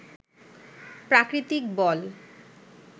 প্রাকৃতিক বল